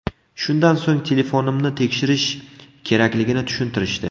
Shundan so‘ng telefonimni tekshirish kerakligini tushuntirishdi.